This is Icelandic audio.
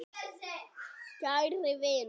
Kæri vinur.